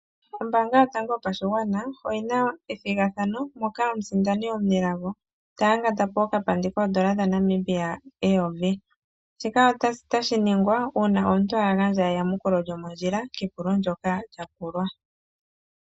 Oombanga yotango yopashigwana oyina ethigathano mpoka omusindani omunelago taya ngatapo okapandi kooN$1000, shika otashi ningwa uuna omuntu agandja eyamukulo lyomondjila kepulo ndoka lyapulwa.